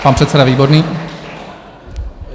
Pan předseda Výborný.